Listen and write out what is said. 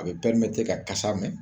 A be pɛrimete ka kasa mɛn